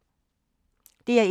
DR1